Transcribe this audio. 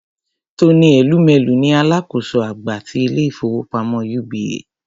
Tony Elumelu ni alákòóso àgbà ti ilé-ìfowópamọ́ UBA.